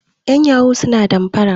yan yahoo suna danfara